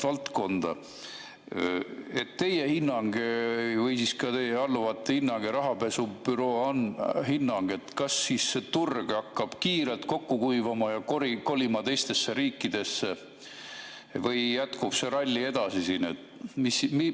Milline on teie hinnang või ka teie alluvate hinnang ja rahapesu büroo hinnang: kas see turg hakkab kiirelt kokku kuivama ja kolima teistesse riikidesse või jätkub see ralli siin edasi?